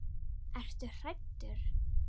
Ertu hræddur?